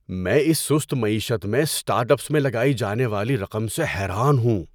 میں اس سست معیشت میں اسٹارٹ اپس میں لگائی جانے والی رقم سے حیران ہوں۔